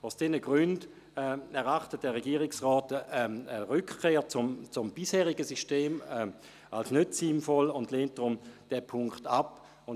Aus diesen Gründen erachtet der Regierungsrat eine Rückkehr zum bisherigen System als nicht sinnvoll und lehnt diesen Punkt deshalb ab.